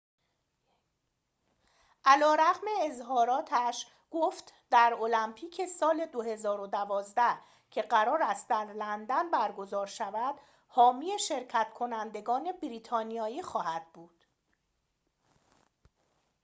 علی‌رغم اظهاراتش گفت در المپیک سال ۲۰۱۲ که قرار است در لندن برگزار شود حامی شرکت‌کنندگان بریتانیایی خواهد بود